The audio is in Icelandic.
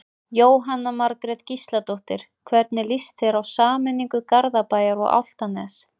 Jóhanna Margrét Gísladóttir: Hvernig lýst þér á sameiningu Garðabæjar og Álftanes?